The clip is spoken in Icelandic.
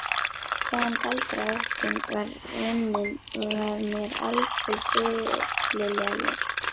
Hvaðan galdraóttinn var runninn var mér aldrei fyllilega ljóst.